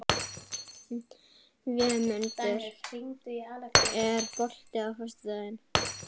Vémundur, er bolti á föstudaginn?